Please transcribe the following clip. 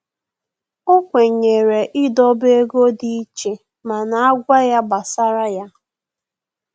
O kwenyere idobe ego dị iche mana agwa ya gbasara ya